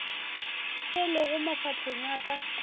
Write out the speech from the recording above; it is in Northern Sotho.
se lego mafahleng a ka